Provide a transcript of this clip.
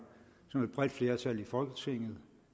som et bredt flertal i folketinget